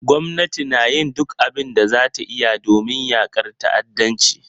Gwamnati na yin duk abin da za ta iya domin yakar ta'addanci.